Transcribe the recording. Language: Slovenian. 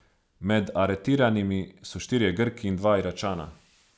Med aretiranimi so štirje Grki in dva Iračana.